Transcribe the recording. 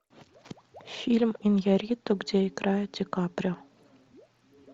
фильм иньярриту где играет ди каприо